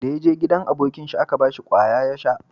Da ya je gidan abokin shi a Ka bashi kwaya ya sha